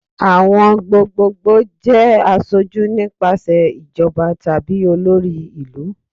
Awọn gbogbogbo jẹ aṣoju nipasẹ ijọba tabi olori ilu